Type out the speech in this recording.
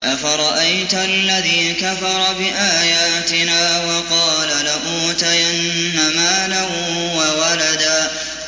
أَفَرَأَيْتَ الَّذِي كَفَرَ بِآيَاتِنَا وَقَالَ لَأُوتَيَنَّ مَالًا وَوَلَدًا